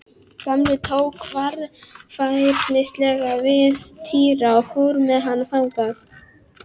Gamli tók varfærnislega við Týra og fór með hann þangað.